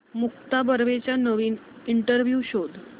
मुक्ता बर्वेचा नवीन इंटरव्ह्यु शोध